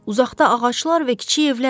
Uzaqda ağaclar və kiçik evlər var.